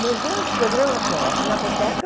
Meus grandes programas são a Pinacoteca,